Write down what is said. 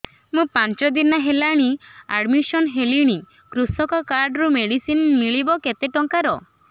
ମୁ ପାଞ୍ଚ ଦିନ ହେଲାଣି ଆଡ୍ମିଶନ ହେଲିଣି କୃଷକ କାର୍ଡ ରୁ ମେଡିସିନ ମିଳିବ କେତେ ଟଙ୍କାର